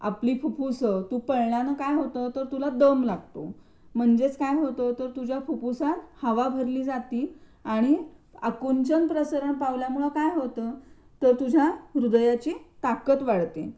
आपले फुफ्फुस तर तू पळयान काय होतं तर तुला दम लागतो. म्हणजे काय होतं तर तू तुझ्या फुफ्फुसात हवा भरली जाते आणि अकुचन प्रसरण पावल्याने काय होतं तर तुझ्या हृदयाची ताकद वाढते.